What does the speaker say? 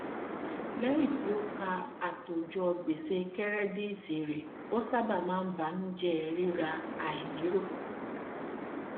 lẹyìn tí ó kà àtòjọ gbèsè kẹrẹdíìtì rẹ ó sábà máa ń banujẹ rírà àìnírò